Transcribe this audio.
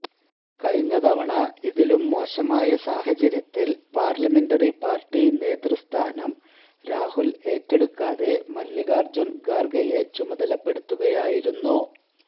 കഴിഞ്ഞ തവണ ഇതിലും മോശമായ സാഹചര്യത്തില് പാര്ലമെന്ററി പാര്ട്ടി നേതൃസ്ഥാനം രാഹുല് ഏറ്റെടുക്കാതെ മല്ലികാര്ജുന് ഖാര്ഗെയെ ചുമതലപ്പെടുത്തുകയായിരുന്നു